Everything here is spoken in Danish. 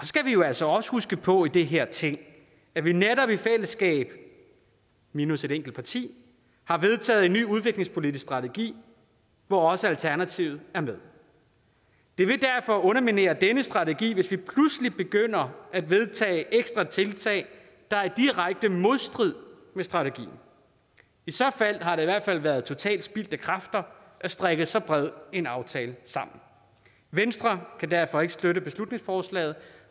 skal vi jo også også huske på i det her ting at vi netop i fællesskab minus et enkelt parti har vedtaget en ny udviklingspolitisk strategi hvor også alternativet er med det vil derfor underminere denne strategi hvis vi pludselig begynder at vedtage ekstra tiltag der er i direkte modstrid med strategien i så fald har det i hvert fald været totalt spildte kræfter at strikke så bred en aftale sammen venstre kan derfor ikke støtte beslutningsforslaget